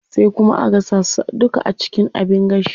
Sai kuma a gasa su duka a cikin abin gashi.